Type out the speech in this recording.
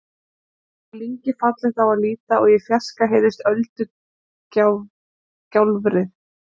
Þá er lyngið fallegt á að líta og í fjarska heyrist öldugjálfrið.